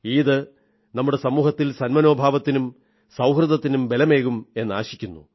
ഈദ് നമ്മുടെ സമൂഹത്തിൽ സന്മനോഭാവത്തിനും സൌഹൃദത്തിനും ബലമേകുമെന്നാശിക്കുന്നു